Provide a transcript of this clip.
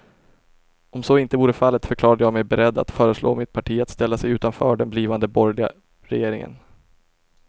Om så inte vore fallet förklarade jag mig beredd att föreslå mitt parti att ställa sig utanför den blivande borgerliga regeringen.